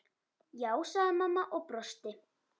Já, sagði mamma og brosti.